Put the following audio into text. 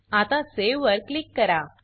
आता सावे वर क्लिक करा